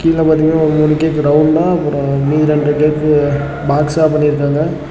கீழ பாத்தீங்கன்னா ஒரு மூணு கேக் ரவுண்டா அப்ரோ மீதி இரண்டு கேக் பாக்ஸா பண்ணி இருக்காங்க.